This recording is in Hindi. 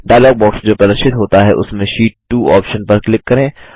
डायलॉग बॉक्स जो प्रदर्शित होता है उसमें शीट 2 ऑप्शन पर क्लिक करें